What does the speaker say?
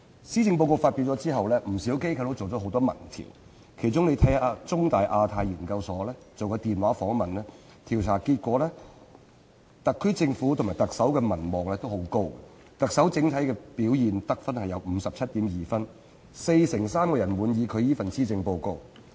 施政報告發表後，不少機構進行了多項民意調查，其中香港中文大學香港亞太研究所曾進行電話訪問，調查結果顯示，特區政府及特首的民望均很高，特首的整體表現獲 57.2 分，四成三人滿意她這份施政報告。